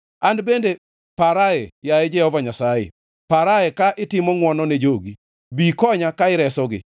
An bende parae, yaye Jehova Nyasaye, parae ka itimo ngʼwono ne jogi, bi ikonya ka iresogi,